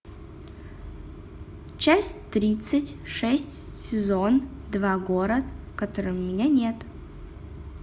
часть тридцать шесть сезон два город в котором меня нет